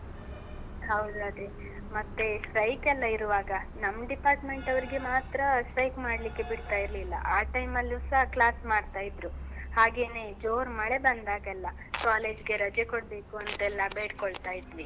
ಹೌದು ಅದೇ. ಮತ್ತೆ, strike ಎಲ್ಲ ಇರುವಾಗ ನಮ್ಮ್ department ನವರಿಗೆ ಮಾತ್ರ strike ಮಾಡ್ಲಿಕ್ಕೆ ಬಿಡ್ತಾ ಇರ್ಲಿಲ್ಲ, ಆ time ಲ್ಲೂಸ class ಮಾಡ್ತಾ ಇದ್ರು. ಹಾಗೇನೇ ಜೋರ್ ಮಳೆ ಬಂದಾಗೆಲ್ಲ, college ಗೆ ರಜೆ ಕೊಡ್ಬೇಕು ಅಂತೆಲ್ಲ ಬೇಡ್ಕೊಳ್ತಾ ಇದ್ವಿ.